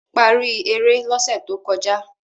paari ere l'ose tó kọjá